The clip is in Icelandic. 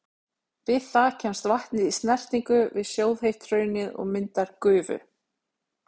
Við það kemst vatnið í snertingu við sjóðheitt hraunið og myndar gufu.